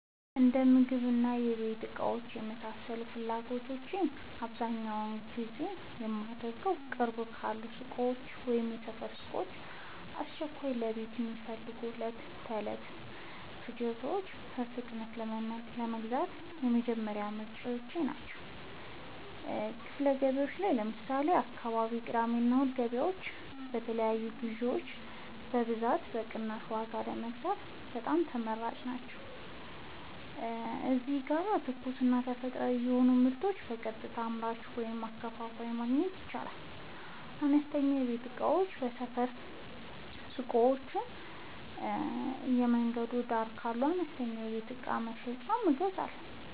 የእንደምግብና የቤት እቃዎች ለመሳሰሉት ፍላጎቶቼ በአብዛኛው ግዢ የማደርገዉ፦ ቅርብ ካሉ ሱቆች (የሰፈር ሱቆች)፦ በአስቸኳይ ለቤት የሚያስፈልጉ የዕለት ተዕለት ፍጆታዎችን በፍጥነት ለመግዛት የመጀመሪያ ምርጫየ ናቸው። ክፍት ገበያዎች (ለምሳሌ፦ የአካባቢው የቅዳሜና እሁድ ገበያዎች) የተለያዩ ግዥዎችን በብዛትና በቅናሽ ዋጋ ለመግዛት በጣም ተመራጭ ቦታዎች ናቸው። እዚህ ጋር ትኩስና ተፈጥሯዊ የሆኑ ምርቶችን በቀጥታ ከአምራቹ ወይም ከአከፋፋዩ ማግኘት ይቻላል። አነስተኛ የቤት እቃዎችን ከሰፈር ሱቆች ወይም በየመንገዱ ዳር ካሉ አነስተኛ የቤት እቃ መሸጫዎች እገዛለሁ።